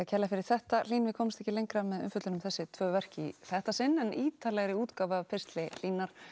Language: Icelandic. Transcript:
kærlega fyrir þetta Hlín við komumst ekki lengra með umfjöllun um þessi tvö verk í þetta sinn en ítarlegri útgáfu af pistli Hlínar